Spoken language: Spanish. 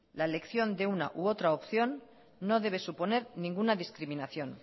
la elección de una u otra opción no debe suponer ninguna discriminación